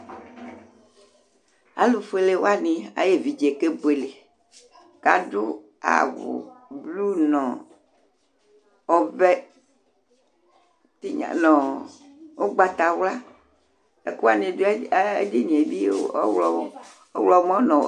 Alu folé wani ayi éʋidjé ké buélé Ka adu awu blu nɔ ɔʋɛ tiynɔ̀n nu ugbata wlua Ɛkuwani du ayili , ɔwlɔlɔ̀n nɔ